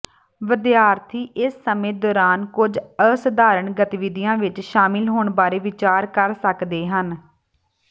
ਵਿਦਿਆਰਥੀ ਇਸ ਸਮੇਂ ਦੌਰਾਨ ਕੁਝ ਅਸਧਾਰਣ ਗਤੀਵਿਧੀਆਂ ਵਿੱਚ ਸ਼ਾਮਲ ਹੋਣ ਬਾਰੇ ਵਿਚਾਰ ਕਰ ਸਕਦੇ ਹਨ